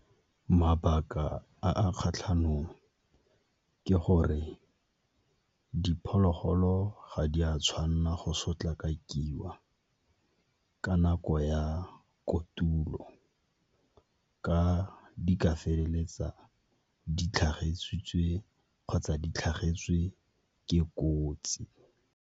Mabaka a a kgatlhanong ke gore diphologolo ga di a tshwanela go sotlakakiwa kana ko ya kotulo, ka di ka feleletsa di kgotsa di tlhagetswe ke kotsi.